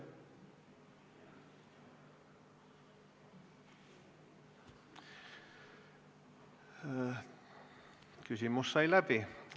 Küsimus sai läbi.